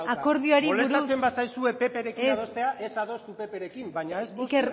akordioari buruz molestatzen bazaizue pprekin adostea ez ez adostu pprekin baina ez moztu eta iker